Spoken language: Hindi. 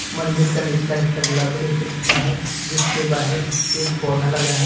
मंदिर का निचला हिस्सा गुलाबी रंग से पुता है जिसके बाहर एक पौधा लगा है।